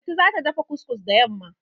Lanti za ta dafa kus-kus da yamma.